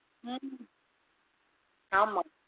ஹம் ஆமா